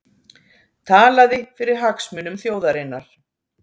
Talaði fyrir hagsmunum þjóðarinnar